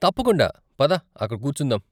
తప్పకుండా! పద అక్కడ కూర్చుందాం.